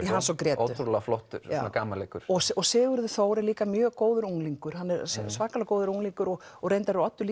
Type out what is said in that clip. í Hans og Grétu ótrúlega flottur gamanleikur og og Sigurður Þór er líka mjög góður unglingur hann er svakalega góður unglingur og og reyndar er Oddur